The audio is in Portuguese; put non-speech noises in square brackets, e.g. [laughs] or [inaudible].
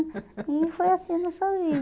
[laughs] E foi assim nossa